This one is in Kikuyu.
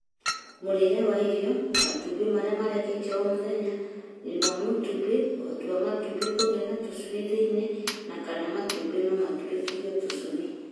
Mũrĩĩre wa irio, matumbĩ marĩa mareketio o mũthenya, riri wa matumbĩ, ũhoti wa matumbĩ kũgĩa na tũcui thĩinĩ, na kana matumbĩ no matũrĩkithio tũcui.